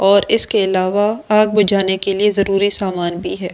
और इसके अलावा आग बुझाने के लिए जरूरी सामान भी है।